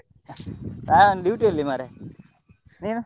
ನಾನ್ duty ಅಲ್ಲಿ ಮಾರ್ರೆ ನೀನು?